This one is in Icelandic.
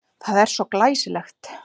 Það er svo glæsilegt.